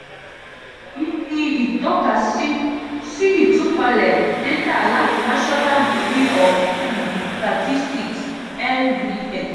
èyí ní ìtọ́ka sí sí ìtúpalẹ̀ dátà láti national bureau of um statistics (nbs).